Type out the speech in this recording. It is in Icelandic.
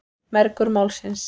Mergur Málsins.